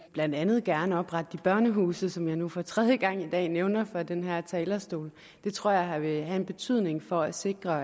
blandt andet gerne oprette de børnehuse som jeg nu for tredje gang i dag nævner fra den her talerstol det tror jeg vil have en betydning for at sikre